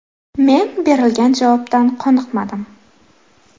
Men berilgan javobdan qoniqmadim.